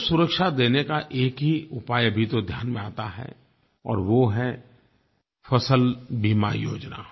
उसको सुरक्षा देने का एक ही उपाय अभी तो ध्यान में आता है और वो है फ़सल बीमा योजना